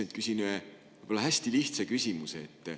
Ma mõtlesin, et küsin hästi lihtsa küsimuse.